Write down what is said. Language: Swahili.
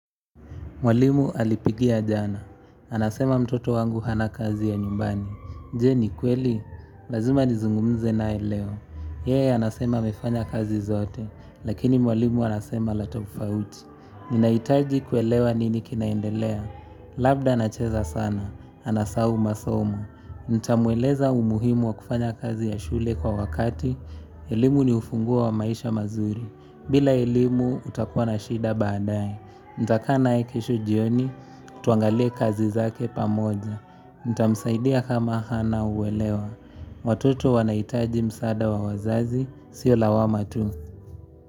Mwalimu alipigia jana. Anasema mtoto wangu hana kazi ya nyumbani. Je ni kweli? Lazima nizungumze naye leo. Yeye anasema amefanya kazi zote. Lakini mwalimu anasema la tofauti. Ninahitaji kuelewa nini kinaendelea. Labda anacheza sana. Anasahau masomo. Ntamueleza umuhimu wa kufanya kazi ya shule kwa wakati. Elimu ni ufunguo wa maisha mazuri. Bila elimu utakuwa na shida baadae. Ntakaa naye kisho jioni, tuangalie kazi zake pamoja Ntamsaidia kama Hana uwelewa watoto wanahitaji msaada wa wazazi, siyo lawama tu.